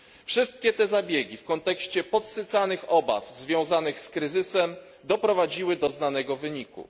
Wszystkie te zabiegi w kontekście podsycanych obaw związanych z kryzysem doprowadziły do znanego wyniku.